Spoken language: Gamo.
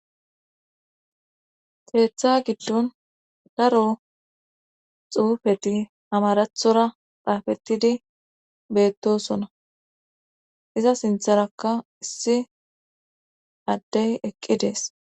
Keeththa giddon daro xuufeti amarathora xaafettidi beettosona iza sintharakka issi addey eqqi dees.